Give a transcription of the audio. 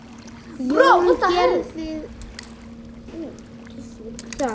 Jón gerði það.